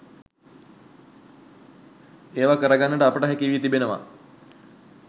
ඒවා කර ගන්නට අපට හැකි වී තිබෙනවා.